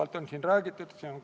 Läheme lõpphääletuse juurde.